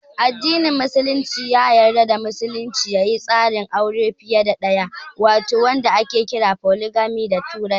Addinin Musulunci ya yarda musulmi ya yi tsarin aure fiye da ɗaya wato wanda ake kira "Foligami" da turanci.